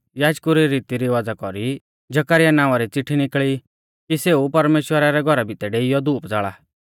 याजकु री रीती रिवाज़ा कौरी जकरयाह नावां री चिट्ठी निकल़ी कि सेऊ परमेश्‍वरा रै घौरा भितै डेइयौ धूप ज़ाल़ा